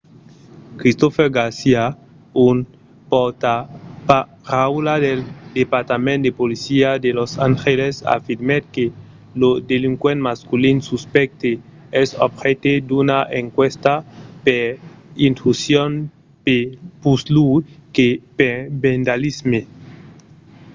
christopher garcia un pòrtaparaula del departament de polícia de los angeles afirmèt que lo delinquent masculin suspècte es objècte d'una enquèsta per intrusion puslèu que per vandalisme